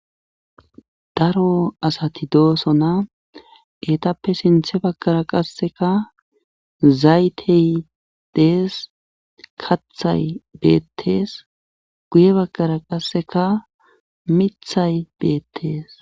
Daro asati doosona eetappe sinthe baggara qasseka zaytey dees kathay beettees; guye baggara qasseka mithay beettees.